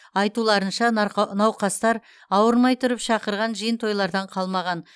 айтуларынша науқастар ауырмай тұрып шақырған жиын тойлардан қалмаған